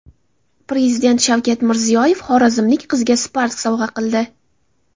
Prezident Shavkat Mirziyoyev xorazmlik qizga Spark sovg‘a qildi .